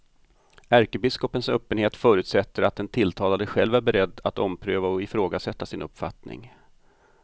Ärkebiskopens öppenhet förutsätter att den tilltalade själv är beredd att ompröva och ifrågasätta sin uppfattning.